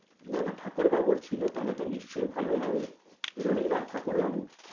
না না ঠাকুর বাবুর ছিল তাহলে তো নিশ্চয়ই ভালো হবে, রবীন্দ্রনাথ ঠাকুর বাবু।